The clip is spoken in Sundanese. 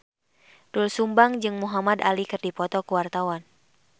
Doel Sumbang jeung Muhamad Ali keur dipoto ku wartawan